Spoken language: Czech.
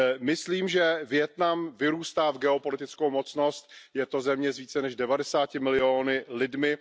Myslím, že Vietnam vyrůstá v geopolitickou mocnost, je to země s více než 90 miliony lidmi.